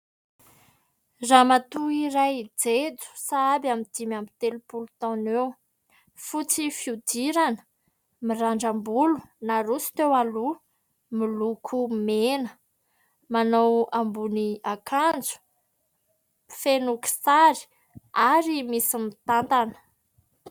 Ramatoa iray jejo sahabo eo amin'ny dimy amby telopolo taona eo ; fotsy fihodirana ; mirandram-bolo naroso teo aloha miloko mena ; manao ambony akanjo feno kisary Ary misy mitantana.